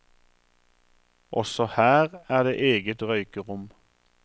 Også her er det eget røykerom.